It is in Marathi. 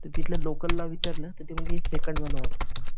तर तिथल्या लोकलला विचारलं तर ते म्हंटले